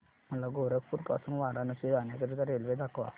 मला गोरखपुर पासून वाराणसी जाण्या करीता रेल्वे दाखवा